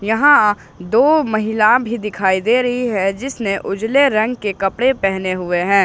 यहां दो महिला भी दिखाई दे रही है जिसने उजले रंग के कपड़े पहने हुए हैं।